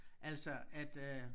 Altså at øh